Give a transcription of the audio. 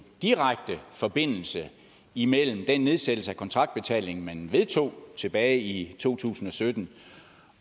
direkte forbindelse imellem den nedsættelse af kontraktbetalingen man vedtog tilbage i to tusind og sytten